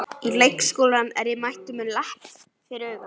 Í leikskólann er ég mættur með lepp fyrir auga.